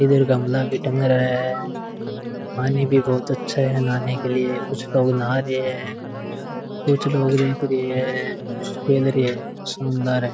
इधर गमला भी टंग रहा है पानी भी बोहोत अच्छा है नहाने के लिए कुछ लोग नहा रे हैं कुछ लोग देख रे हैं कुछ खेल रे हैं शानदार है।